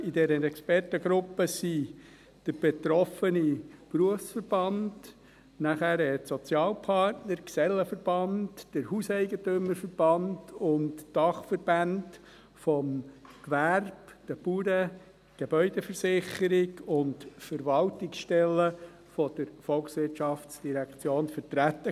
In dieser Expertengruppe waren der betroffene Berufsverband, die Sozialpartner, der Gesellenverband, der Hauseigentümerverband (HEV), die Dachverbände des Gewerbes und der Bauern, die Gebäudeversicherung Bern (GVB) und Verwaltungsstellen der VOL vertreten.